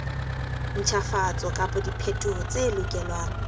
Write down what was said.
ntjhafatso kapa diphetoho tse lokelwang